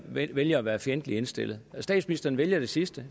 vælge at være fjendtligt indstillet statsministeren vælger det sidste og